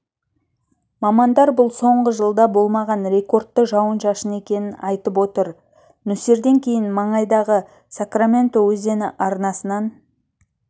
мамандар бұл соңғы жылда болмаған рекордты жауын-шашын екенін айтып отыр нөсерден кейін маңайдағы сакраменто өзені арнасынан